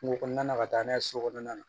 Kungo kɔnɔna ka taa n'a ye so kɔnɔna na